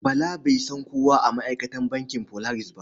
Bala bai san kowa a ma'aikatan bankin Polaris ba.